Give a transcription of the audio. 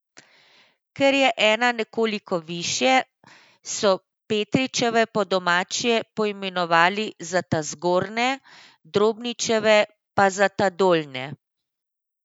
Ker je ena nekoliko višje, so Petričeve po domače poimenovali za ta zgornje, Drobničeve pa za ta dolnje.